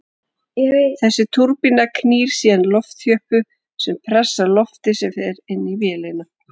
Þessi túrbína knýr síðan loftþjöppu sem pressar loftið sem fer inn á vélina.